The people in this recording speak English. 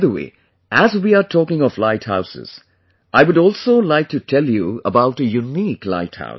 By the way, as we are talking of light houses I would also like to tell you about a unique light house